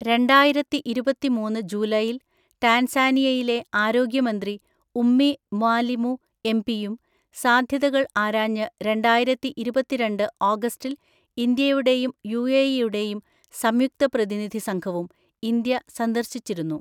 രണ്ടായിരത്തിഇരുപതിമൂന്ന് ജൂലൈയിൽ ടാൻസാനിയയിലെ ആരോഗ്യമന്ത്രി ഉമ്മി മ്വാലിമു എംപിയും, സാധ്യതകൾ ആരാഞ്ഞ് രണ്ടായിരത്തിഇരുപത്തിരണ്ട് ഓഗസ്റ്റിൽ ഇന്ത്യയുടെയും യുഎഇയുടെയും സംയുക്ത പ്രതിനിധി സംഘവും ഇന്ത്യ സന്ദർശിച്ചിരുന്നു.